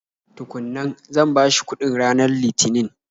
Tukun nan, zan bashi kuɗin ranar lithinin.